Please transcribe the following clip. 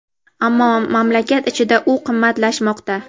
ammo mamlakat ichida u qimmatlashmoqda.